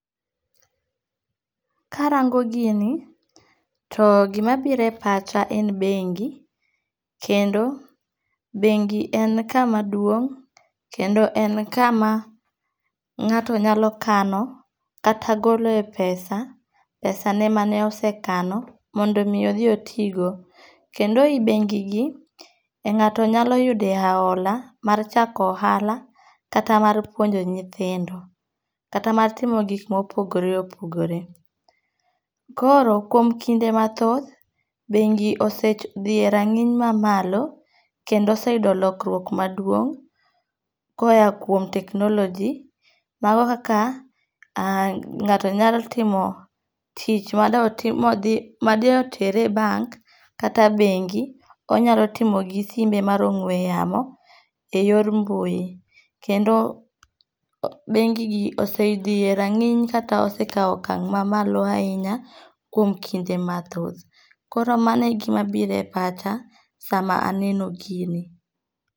Karango gini to gimabiro e pacha en bengi, kendo bengi en kama duong' kendo en kama ng'ato nyalo kano kata golo e pesa, pesane ma ne osekano mondo omi odhi otigo. Kendo i bengi gi,e ng'ato nyalo yudoe ahola mar chako ohala kata mar puonjo nyithindo, kata mar timo gik mopogore opogore. Koro ,kuom kinde mathoth, bengi osedhiye rang'iny mamalo kendo oseyudo lokruok maduong' koya kuom technology, mago kaka ng'ato nyalo timo tich made otere e bank kata e bengi, onyalo timo gi simbe mar ong'we yamo e yor mbui. Kendo bengigi osedhi e rang'iny kata osekawo okang' ma malo ahinya kuom kinde mathoth. Koro mano e gima biro e pacha sama aneno gini.